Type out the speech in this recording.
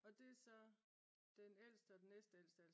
Og det er så den ældste og den næstældste